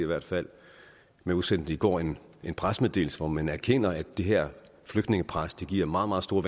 hvert fald man udsendte i går en pressemeddelelse hvor man erkender at det her flygtningepres giver meget meget store